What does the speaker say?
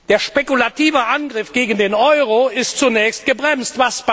Der spekulative Angriff gegen den Euro ist zunächst gebremst.